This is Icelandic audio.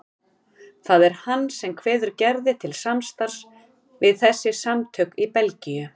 Það er hann sem kveður Gerði til samstarfs við þessi samtök í Belgíu.